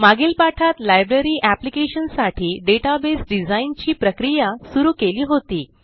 मागील पाठात library application साठी डेटाबेस डिझाइन ची प्रक्रिया सुरू केली होती